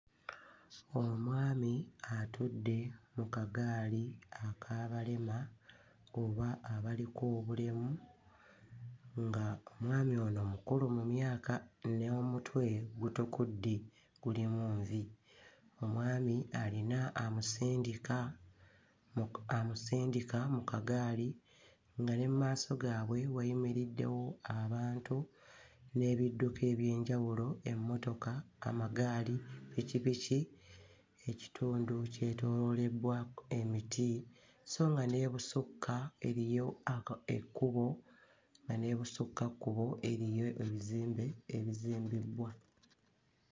Omwami atudde mu kagaali ak'abalema, oba abaliko obulemu nga omwami ono mukulu mu myaka nga n'omutwe gutukudde gulimu envi. Omwami alina amusindika mu amusindika mu kagaali nga ne mmaaso gaabwe wayimiriddewo abantu n'ebidduka eby'enjawulo, emmotoka, amagaali, ppikipiki, ekitundu kyetooloddwa emiti so nga n'ebusukka eriyo aka ekkubo, nga n'ebusukkakkubo eriyo ebizimbe ebizimbiddwa.